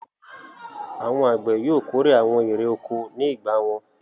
Àwọn àgbẹ̀ yóò kórè àwọn èrè-oko ní ìgbà wọn.